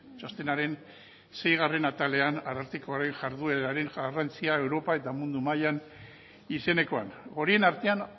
txostenaren seigarren atalean arartekoaren jardueraren garrantzia europa eta mundu mailan izenekoan horien artean